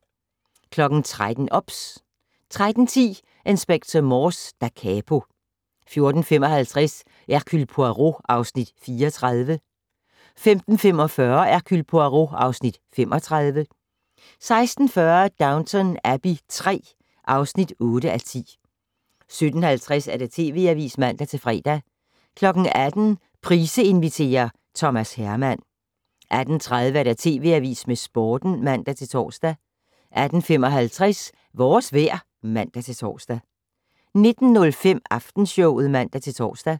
13:00: OBS 13:10: Inspector Morse: Da capo 14:55: Hercule Poirot (Afs. 34) 15:45: Hercule Poirot (Afs. 35) 16:40: Downton Abbey III (8:10) 17:50: TV Avisen (man-fre) 18:00: Price inviterer - Thomas Herman 18:30: TV Avisen med Sporten (man-tor) 18:55: Vores vejr (man-tor) 19:05: Aftenshowet (man-tor)